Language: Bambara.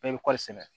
Bɛɛ bɛ kɔɔri sɛnɛ